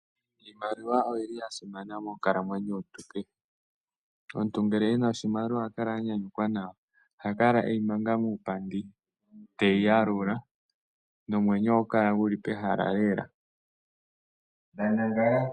Iimaliwa oyi li ya simana monkalamwenyo yomuntu kehe. Omuntu ngele e na oshimaliwa oha kala a nyanyukwa nawa. Oha kala e yi manga muupandi te yi yalula nomwenyo ohagu kala gu li pehala lela.